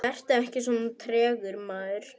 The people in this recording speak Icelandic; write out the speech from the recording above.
Vertu ekki svona tregur, maður!